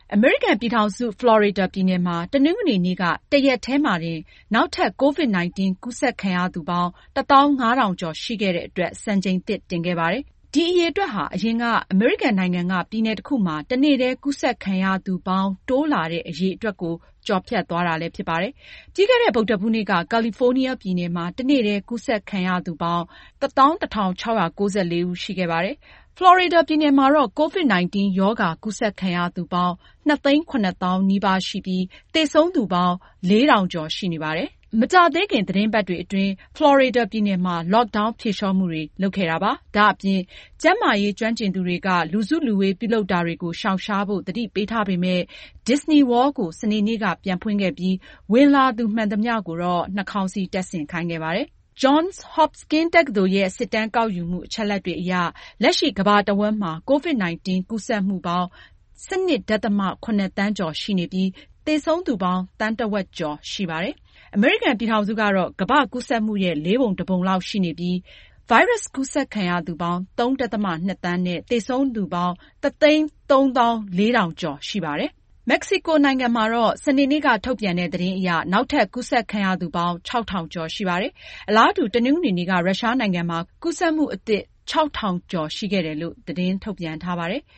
အမေရိကန်ပြည်ထောင်စု ဖလော်ရီဒါပြည်နယ်မှာ တနင်္ဂနွေနေ့က တရက်တည်းမှာတင် နောက်ထပ် COVID-19 ကူးစက်ခံရသူပေါင်း ၁၅,၀၀၀ ကျော် ရှိခဲ့တဲ့အတွက် စံချိန်သစ်တင်ခဲ့ပါတယ်။ ဒီအရေအတွက်ဟာ အရင်က အမေရိကန်နိုင်ငံက ပြည်နယ်တခုမှာ တနေ့တည်း ကူးစက်ခံရသူပေါင်း တိုးလာတဲ့ အရေအတွက်ကို ကျော်ဖြတ်သွားတာ ဖြစ်ပါတယ်။ ပြီးခဲ့တဲ့ ဗုဒ္ဓဟူးနေ့က ကယ်လီဖိုးနီးယားပြည်နယ်မှာ တနေ့တည်း ကူးစက်ခံရသူပေါင်း ၁၁,၆၉၄ ဦး ရှိခဲ့ပါတယ်။ ဖလော်ရီဒါပြည်နယ်မှာတော့ COVID-19 ရောဂါ ကူးစက်ခံရသူပေါင်း ၂၇၀,၀၀၀ နီးပါးရှိပြီး သေဆုံးသူပေါင်း ၄,၃၄၆ ဦး ရှိနေပါတယ်။ မကြာသေးခင် သီတင်းပတ်တွေအတွင်းကတော့ ဖလော်ရီဒါပြည်နယ်မှာ Lockdown ဖြေလျှော့မှုတွေ လုပ်ခဲ့ပါတယ်။ ဒါ့အပြင် ကျန်းမာရေး ကျွမ်းကျင်သူတွေက လူစုလူဝေး ပြုလုပ်တာတွေကို ရှောင်ရှားဖို့ သတိပေးထားပေမယ့် Disney World ကို စနေနေ့က ပြန်ဖွင့်ခဲ့ပြီး ဝင်လာတဲ့သူ မှန်သမျှ ကိုတော့ နှာခေါင်းစည်း တပ်ဆင်ခိုင်းခဲ့ပါတယ်။ Johns Hopkins တက္ကသိုလ်ရဲ့ စစ်တမ်းကောက်ယူမှု အချက်အလက်တွေအရ လက်ရှိ ကမ္ဘာတဝန်းမှာ COVID-19 ကူးစက်မှုပေါင်း ၁၂.၇ သန်းကျော်ရှိပြီး သေဆုံးသူပေါင်း သန်းတဝက်ကျော် ရှိနေပါတယ်။ အမေရိကန်ပြည်ထောင်စုကတော့ ကမ္ဘာ့ကူးစက်မှုရဲ့ လေးပုံတပုံလောက်ရှိပြီး ဗိုင်းရပ်စ်ကူးစက်ခံရသူပေါင်း ၃.၂ သန်းနဲ့ သေဆုံးသူပေါင်း ၁၃၄,၀၀၀ ကျော် ရှိပါတယ်။ မက္ကဆီကိုနိုင်ငံမှာ စနေနေ့က ထုတ်ပြန်တဲ့ သတင်းအရ နောက်ထပ် ကူးစက်ခံရသူပေါင်း ၆,၀၀၀ ကျော်ရှိပါတယ်။ အလားတူ တနင်္ဂနွေနေ့က ရုရှားနိုင်ငံမှာ ကူးစက်မှုအသစ် ၆,၀၀၀ ကျော်ရှိခဲ့တယ်လို့ သတင်းထုတ်ပြန်ထားပါတယ်။